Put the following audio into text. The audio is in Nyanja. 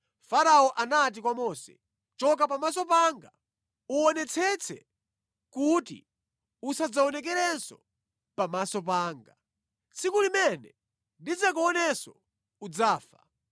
Farao anati kwa Mose, “Choka pamaso panga! Uwonetsetse kuti usadzaonekerenso pamaso panga! Tsiku limene ndidzakuonenso udzafa.”